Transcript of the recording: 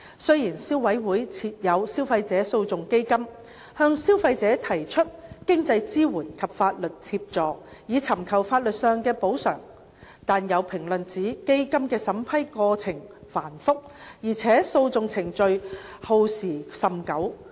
雖然消委會設有消費者訴訟基金，向消費者提供經濟支援及法律協助，以尋求法律上的補償，但有評論指基金的審批過程繁複，而且訴訟程序耗時甚久。